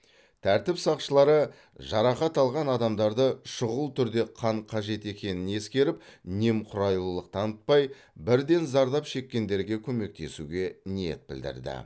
тәртіп сақшылары жарақат алған адамдарды шұғыл түрде қан қажет екенін ескеріп немқұрайлылық танытпай бірден зардап шеккендерге көмектесуге ниет білдірді